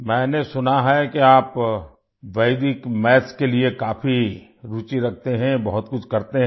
मैंने सुना है कि आप वेदिक मैथ्स के लिए काफी रूचि रखते हैं बहुत कुछ करते हैं